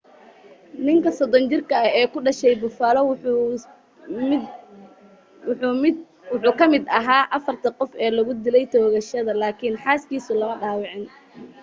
ninka 30 jirka ah ee ku dhashay buffalo wuxuu ka mid aha afarta qof ee lagu dilay toogashada lakin xaas kiisu lama dhawacin